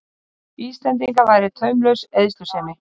Íslendinga væri taumlaus eyðslusemi.